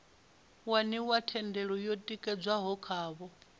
waniwa thendelo yo tikedzwaho khavho